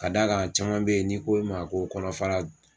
Ka da kan caman bɛ yen, n'i ko i ma ko kɔnɔfara.